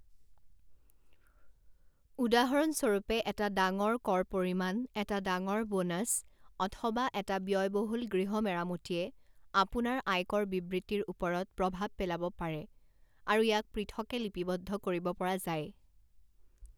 উদাহৰণস্বৰূপে, এটা ডাঙৰ কৰ পৰিমাণ, এটা ডাঙৰ বোনাচ, অথবা এটা ব্যয়বহুল গৃহ মেৰামতিয়ে আপোনাৰ আয়কৰ বিবৃতিৰ ওপৰত প্ৰভাৱ পেলাব পাৰে আৰু ইয়াক পৃথকে লিপিবদ্ধ কৰিব পৰা যায়।